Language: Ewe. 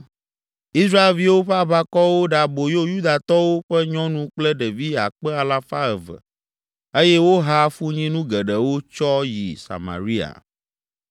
Israelviwo ƒe aʋakɔwo ɖe aboyo Yudatɔwo ƒe nyɔnu kple ɖevi akpe alafa eve (200,000) eye woha afunyinu geɖewo tsɔ yi Samaria.